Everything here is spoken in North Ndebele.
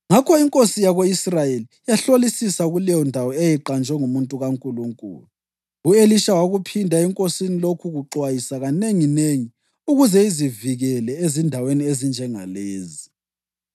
Ngakho inkosi yako-Israyeli yahlolisisa kuleyondawo eyayiqanjwe ngumuntu kaNkulunkulu. U-Elisha wakuphinda enkosini lokhu kuxwayisa kanenginengi, ukuze izivikele ezindaweni ezinjengalezi.